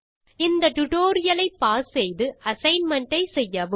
இந்த டியூட்டோரியல் ஐ பாஸ் செய்து அசைன்மென்ட் ஐ செய்யவும்